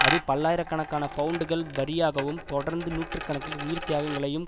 அது பல்லாயிர கணக்கான பவுண்டுகள் வரியாகவும் தொடர்ந்து நூற்று கணக்கில் உயிர் தியாகங்களையும்